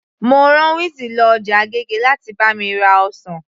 Mo rá wizzy lọ ọjà agége láti bá mi ra ọsàn